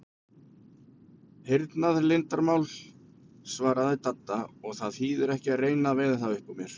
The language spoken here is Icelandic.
Hernaðarleyndarmál svaraði Dadda, og það þýðir ekki að reyna að veiða það upp úr mér